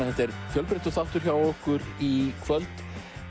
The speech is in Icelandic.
þetta er fjölbreyttur þáttur hjá okkur í kvöld